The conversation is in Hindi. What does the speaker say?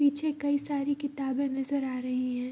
पीछे कई सारी किताबें नजर आ रही हैं।